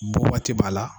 Bɔ waati b'a la